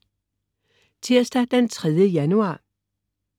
Tirsdag den 3. januar